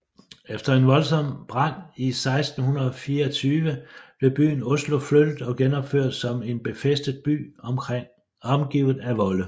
Efter en voldsomt brand i 1624 blev byen Oslo flyttet og genopført som en befæstet by omgivet af volde